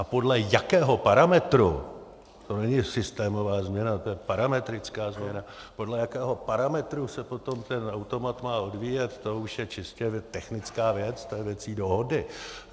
A podle jakého parametru - to není systémová změna, to je parametrická změna - podle jakého parametru se potom ten automat má odvíjet, to už je čistě technická věc, to je věcí dohody.